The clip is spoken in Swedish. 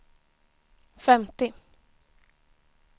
femtio